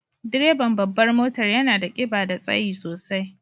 Direban babbar motar yana da kiba da tsayi sosai.